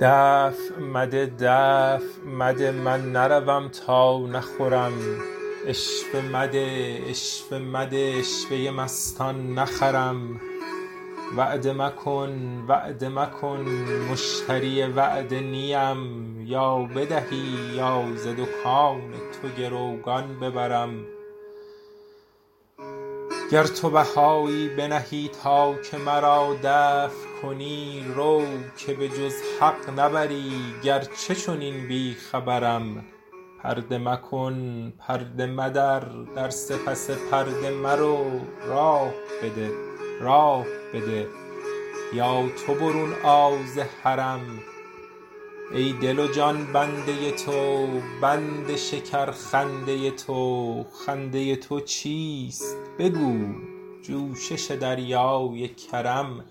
دفع مده دفع مده من نروم تا نخورم عشوه مده عشوه مده عشوه ی مستان نخرم وعده مکن وعده مکن مشتری وعده نی ام یا بدهی یا ز دکان تو گروگان ببرم گر تو بهایی بنهی تا که مرا دفع کنی رو که به جز حق نبری گرچه چنین بی خبرم پرده مکن پرده مدر در سپس پرده مرو راه بده راه بده یا تو برون آ ز حرم ای دل و جان بنده تو بند شکرخنده ی تو خنده ی تو چیست بگو جوشش دریای کرم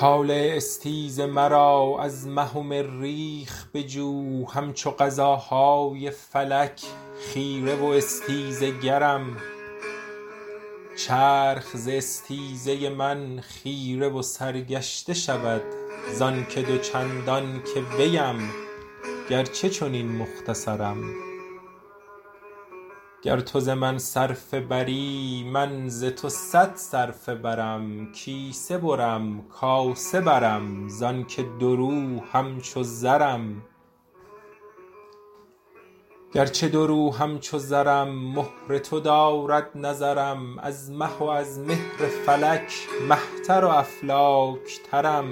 طالع استیز مرا از مه و مریخ بجو همچو قضاهای فلک خیره و استیزه گرم چرخ ز استیزه من خیره و سرگشته شود زانک دو چندان که ویم گرچه چنین مختصرم گر تو ز من صرفه بری من ز تو صد صرفه برم کیسه برم کاسه برم زانک دورو همچو زرم گرچه دورو همچو زرم مهر تو دارد نظرم از مه و از مهر فلک مه تر و افلاک ترم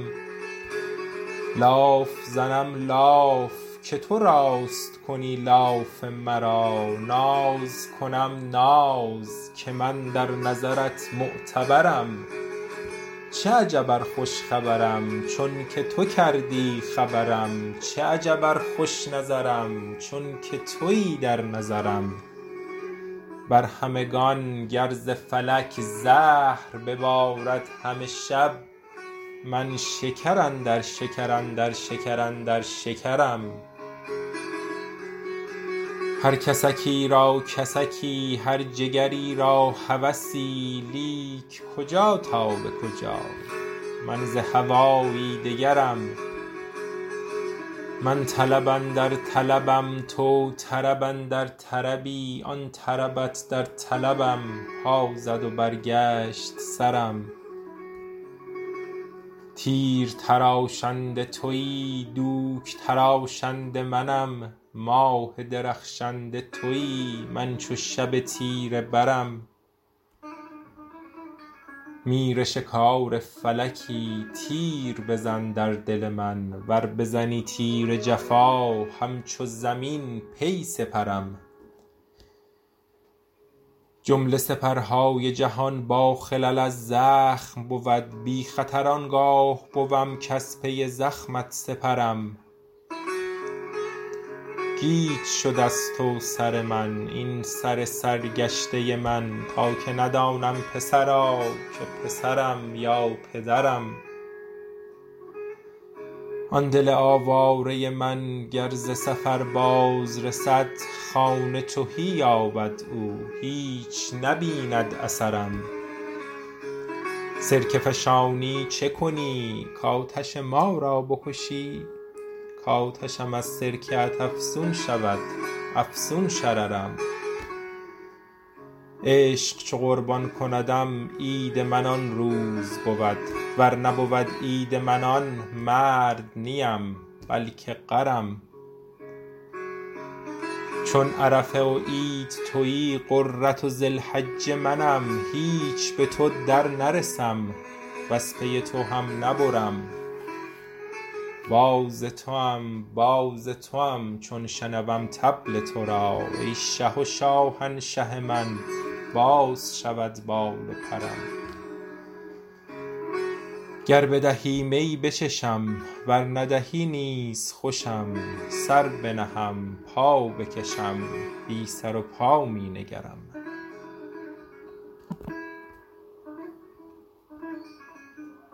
لاف زنم لاف که تو راست کنی لاف مرا ناز کنم ناز که من در نظرت معتبرم چه عجب ار خوش خبرم چونک تو کردی خبرم چه عجب ار خوش نظرم چونک توی در نظرم بر همگان گر ز فلک زهر ببارد همه شب من شکر اندر شکر اندر شکر اندر شکرم هر کسکی را کسکی هر جگری را هوسی لیک کجا تا به کجا من ز هوایی دگرم من طلب اندر طلبم تو طرب اندر طربی آن طربت در طلبم پا زد و برگشت سرم تیر تراشنده توی دوک تراشنده منم ماه درخشنده توی من چو شب تیره برم میرشکار فلکی تیر بزن در دل من ور بزنی تیر جفا همچو زمین پی سپرم جمله سپرهای جهان باخلل از زخم بود بی خطر آن گاه بوم کز پی زخمت سپرم گیج شد از تو سر من این سر سرگشته من تا که ندانم پسرا که پسرم یا پدرم آن دل آواره من گر ز سفر بازرسد خانه تهی یابد او هیچ نبیند اثرم سرکه فشانی چه کنی کآتش ما را بکشی کآتشم از سرکه ات افزون شود افزون شررم عشق چو قربان کندم عید من آن روز بود ور نبود عید من آن مرد نی ام بلک غرم چون عرفه و عید توی غره ذی الحجه منم هیچ به تو درنرسم وز پی تو هم نبرم باز توام باز توام چون شنوم طبل تو را ای شه و شاهنشه من باز شود بال و پرم گر بدهی می بچشم ور ندهی نیز خوشم سر بنهم پا بکشم بی سر و پا می نگرم